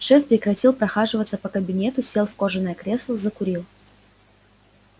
шеф прекратил прохаживаться по кабинету сел в кожаное кресло закурил